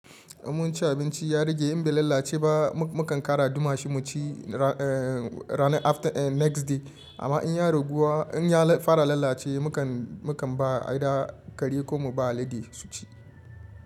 Mun ci abinci ya rage in bai lalace ba mu kan ƙara duma shi mu ci next day amma in ya raguwa in ya fara lalace mu kan ba aida kare ko mu ba alade su ci.